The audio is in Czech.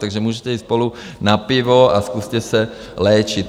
Takže můžete jít spolu na pivo a zkuste se léčit.